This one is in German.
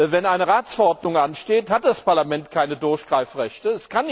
Wenn eine Ratsverordnung ansteht, hat das Parlament keine Durchgreifrechte.